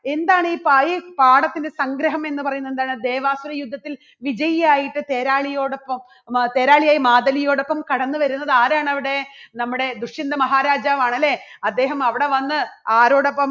എന്താണ് ഈ പായ് പാഠത്തിന്റെ സംഗ്രഹം എന്ന് പറയുന്നത് എന്താണ് ദേവാസുരയുദ്ധത്തിൽ വിജയിയായിട്ട് തേരാളിയോടൊപ്പം തേരാളിയായ മാധവിയോടൊപ്പം കടന്നുവരുന്നത് ആരാണ് അവിടെ? നമ്മുടെ ദുഷ്യന്ത മഹാരാജാവാണ്. അല്ലേ? അദ്ദേഹം അവിടെ വന്ന് ആരോടൊപ്പം